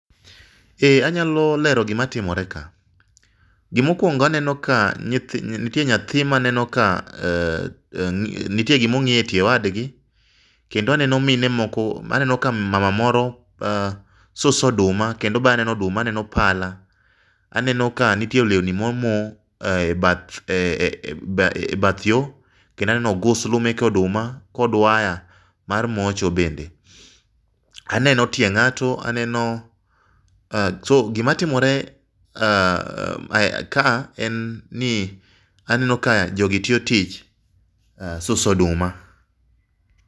Eee anyalo lero gimatimore ka. Gima okuongo aneno ka nitie nyathi maneno ka nitie gima ong'iyo e tie wadgi, kendo aneno mine , aneno ka mama moro suso oduma. Kendo be aneno oduma, aneno pala, aneno ka nitie lewni momo e e ebath yo. Kendo aneno ogusu mek oduma kod waya mar mocho bende. Aneno tie ng'ato, aneno choo oh gimatimore kae en ni aneno ka jogi tiyo tich suso oduma.